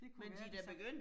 Det kunne være altså